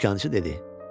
Dükançı dedi: